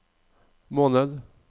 måned